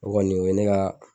O kɔni o ye ne ka